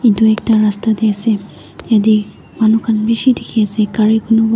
Etu ekta rasta tey ase yate manu khan beshe dekhe ase gare konobah--